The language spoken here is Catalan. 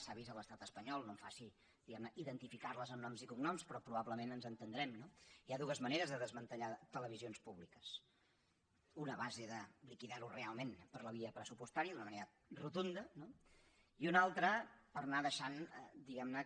s’ha vist a l’estat espanyol no em faci diguem ne identificar les amb noms i cognoms però probablement ens entendrem no hi ha dues maneres de desmantellar televisions públiques una a base de liquidar ho realment per la via pressupostària d’una manera rotunda no i una altra per anar deixant diguem ne